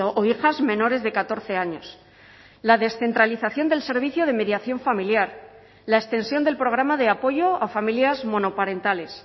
o hijas menores de catorce años la descentralización del servicio de mediación familiar la extensión del programa de apoyo a familias monoparentales